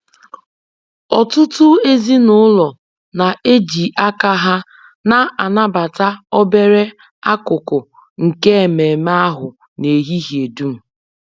Ọtụtụ ezinụlọ na-eji aka ha na-anabata obere akụkụ nke ememe ahụ n'ehihie dum